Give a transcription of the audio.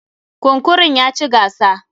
Kunkurun ya ci gasa.